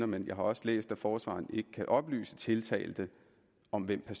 men jeg har også læst at forsvareren ikke kan oplyse tiltalte om hvem